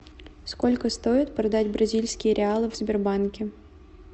сколько стоит продать бразильские реалы в сбербанке